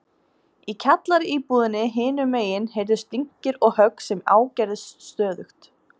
Í kjallaraíbúðinni hinum megin heyrðust dynkir og högg sem ágerðust stöðugt.